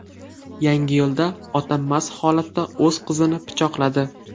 Yangiyo‘lda ota mast holatda o‘z qizini pichoqladi.